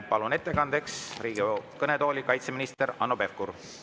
Palun ettekandeks Riigikogu kõnetooli kaitseminister Hanno Pevkuri.